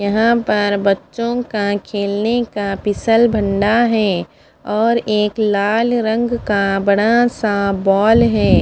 यहाँ पर बचो का खेलने का फिसल भंडा है और एक लाल रंग का बड़ा सा बोल है।